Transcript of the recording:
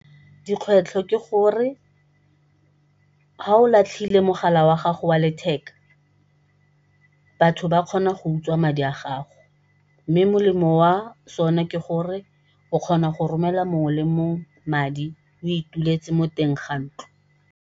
Dikgwetlho ke gore ga o latlhile mogala wa gago wa letheka batho ba kgona go utswa madi a gago, mme molemo wa sone ke gore o kgona go romelela mongwe le mongwe madi o ituletse mo teng ga ntlo.